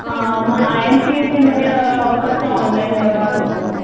अ मग I M P S मध्ये कसं ऑनलाईन व्यवहार होतो.